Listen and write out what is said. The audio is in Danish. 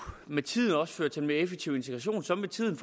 med tiden også føre til en mere effektiv integration som med tiden